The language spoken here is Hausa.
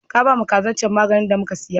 Ka bama kazar can maganin da muka saya?